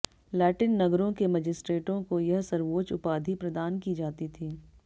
Latin नगरों के मजिस्ट्रेटों को यह सर्वोच्च उपाधि प्रदान की जाती थी